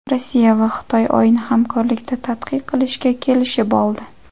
Rossiya va Xitoy Oyni hamkorlikda tadqiq qilishga kelishib oldi.